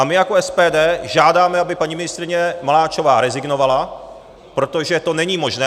A my jako SPD žádáme, aby paní ministryně Maláčová rezignovala, protože to není možné.